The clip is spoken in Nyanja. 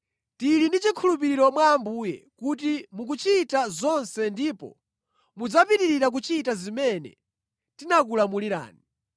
Tili ndi chikhulupiriro mwa Ambuye kuti mukuchita zonse ndipo mudzapitirira kuchita zimene tinakulamulirani.